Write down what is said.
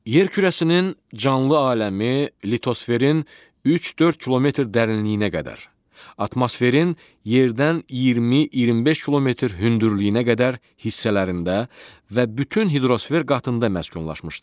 Yer kürəsinin canlı aləmi litosferin 3-4 kilometr dərinliyinə qədər, atmosferin yerdən 20-25 kilometr hündürlüyünə qədər hissələrində və bütün hidrosfer qatında məskunlaşmışdır.